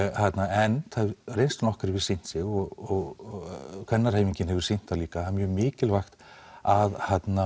en reynslan okkar hefur sýnt sig og kvennahreyfingin hefur sýnt það líka að mjög mikilvægt að